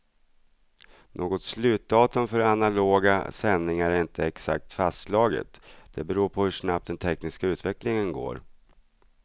Något slutdatum för analoga sändningar är inte exakt fastslaget, det beror på hur snabbt den tekniska utvecklingen går.